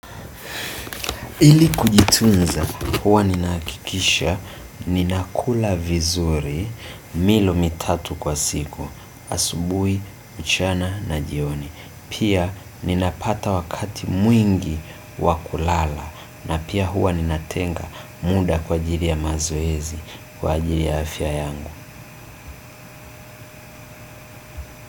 Ili kujitunza, huwa ninahakikisha, ninakula vizuri, milo mitatu kwa siku, asubuhi, mchana na jioni. Pia ninapata wakati mwingi wa kulala na pia huwa ninatenga muda kwa ajili ya mazoezi kwa ajili ya afya yangu.